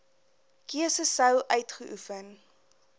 keuse sou uitgeoefen